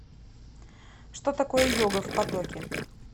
что такое йога в потоке